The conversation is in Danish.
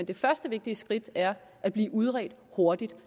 det første vigtige skridt er at blive udredt hurtigt